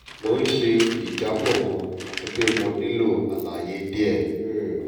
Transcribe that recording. mo n ṣe ijabọ kan ati pe mo nilo alaye diẹ um